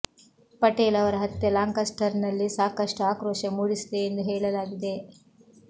ಪಟೇಲ್ ಅವರ ಹತ್ಯೆ ಲಾಂಕಸ್ಟರ್ ನಲ್ಲಿ ಸಾಕಷ್ಟು ಆಕ್ರೋಶ ಮೂಡಿಸಿದೆಯೆಂದು ಹೇಳಲಾಗಿದೆ